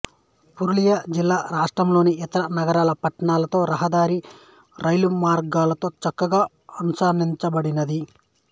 పురూలియా జిల్లా రాష్ట్రంలోని ఇతర నగరాలు పట్టణాలతో రహదారి రైలుమార్గాలతోచక్కగా అనుసంధానించబడింది